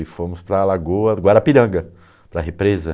E fomos para a lagoa do Guarapiranga, para a represa.